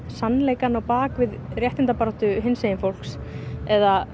sannleikann á bak við réttindabaráttu hinsegin fólks eða